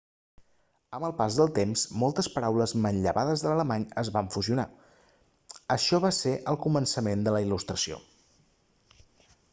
amb el pas del temps moltes paraules manllevades de l'alemany es van fusionar això va ser el començament de la il·lustració